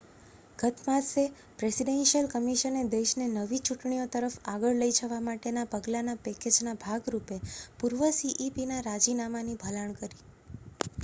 ગત માસે પ્રેસિડેન્શિઅલ કમિશને દેશને નવી ચૂંટણીઓ તરફ આગળ લઈ જવા માટેના પગલાંના પૅકેજના ભાગ રૂપે પૂર્વ cepના રાજીનામાની ભલામણ કરી